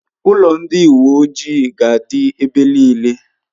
Ulo ndi uwe ojii ga'adi ebe nile